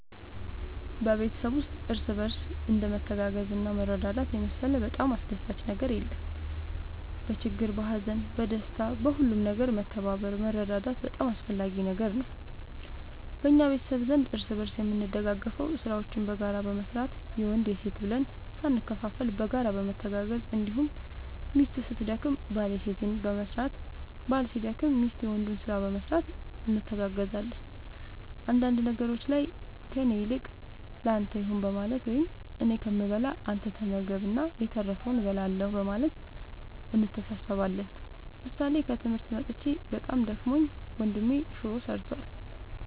በቤተሰብ ውስጥ እርስ በርስ እንደ መተጋገዝና መረዳዳት የመሰለ በጣም አስደሳች ነገር የለም በችግር በሀዘን በደስታ በሁሉም ነገር መተባበር መረዳዳት በጣም አስፈላጊ ነገር ነው በእኛ ቤተሰብ ዘንድ እርስ በርስ የምንደጋገፈው ስራዎችን በጋራ በመስራት የወንድ የሴት ብለን ሳንከፋፈል በጋራ በመተጋገዝ እንዲሁም ሚስት ስትደክም ባል የሴትን በመስራት ባል ሲደክም ሚስት የወንዱን ስራ በመስራት እንተጋገዛለን አንዳንድ ነገሮች ላይ ከእኔ ይልቅ ለአንተ ይሁን በማለት ወይም እኔ ከምበላ አንተ ተመገብ እና የተረፈውን እበላለሁ በማለት እንተሳሰባለን ምሳሌ ከትምህርት መጥቼ በጣም ደክሞኝ ወንድሜ ሹሮ ሰርቷል።